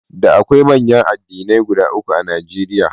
Da akwai manyan addinai guda uku a Najeriya eriya.